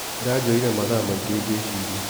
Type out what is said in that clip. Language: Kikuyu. Ĩranjoyire mathaa maingĩ ngĩciria.